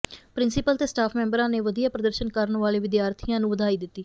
principal ਤੇ staff ਮੈਂਬਰਾਂ ਨੇ ਵਧੀਆ ਪ੍ਰਦਰਸ਼ਨ ਕਰਨ ਵਾਲੇ ਵਿਦਿਆਰਥੀਆਂ ਨੂੰ ਵਧਾਈ ਦਿੱਤੀ